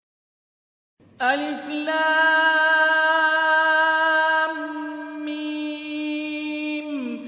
الم